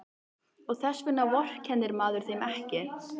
Og þess vegna vorkennir maður þeim ekki.